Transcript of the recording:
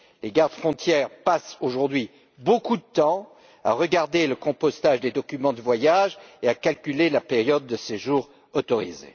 Les gardes frontières passent aujourd'hui beaucoup de temps à regarder le compostage des documents de voyage et à calculer la période de séjour autorisé.